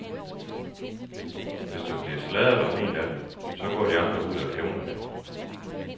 Hvis der bliver sladret om en af dem, så går de andre ud og hævner det.